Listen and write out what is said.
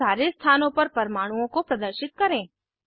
अब सारे स्थानों पर परमाणुओं को प्रदर्शित करें